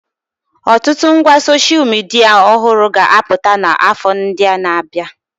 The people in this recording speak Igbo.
Ọtụtụ ngwa soshal midia ọhụrụ ga-abpụta n'afọ ndị na-abịa.